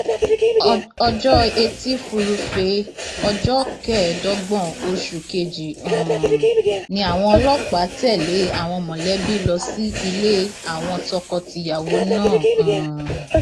ọjọ etí furuufee ọjọ kẹẹẹdọgbọn oṣù kejì um ni àwọn ọlọpàá tẹlé àwọn mọlẹbí lọ sí ilé àwọn tọkọtìyàwó náà um